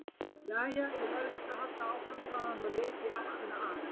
Jæja, ég verð víst að halda áfram, sagði hann og leit í áttina að